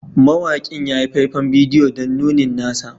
Mawakin ya yi faifan bidiyo don nunin nasa